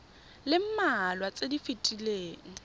le mmalwa tse di fetileng